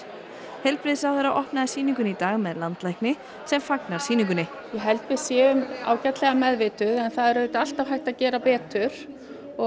heilbrigðisráðherra opnaði sýninguna í dag með landlækni sem fagnar sýningunni ég held við séum ágætlega meðvituð en það er auðvitað alltaf hægt að gera betur og